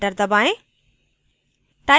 enter दबाएँ